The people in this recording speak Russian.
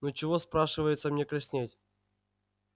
ну чего спрашивается мне краснеть